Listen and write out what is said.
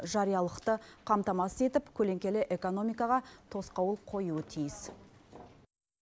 жариялықты қамтамасыз етіп көлеңкелі экономикаға тосқауыл қоюы тиіс